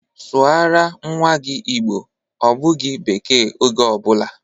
Sụara nnwa gị Igbo! Ọ bụghị bekee oge ọ bụla!